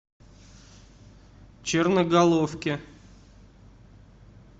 черноголовке